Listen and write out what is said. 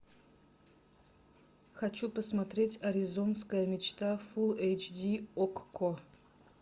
хочу посмотреть аризонская мечта фул эйч ди окко